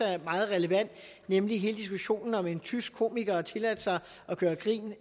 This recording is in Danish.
er meget relevant nemlig hele diskussionen om en tysk komiker der har tilladt sig at gøre grin